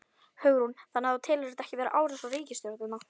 Hugrún: Þannig þú telur þetta ekki vera árás á ríkisstjórnina?